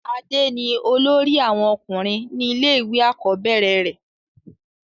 adé ni olórí àwọn ọkùnrin ní ilé ìwé àkọ́bẹ̀rẹ̀ rẹ̀